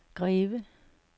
Greve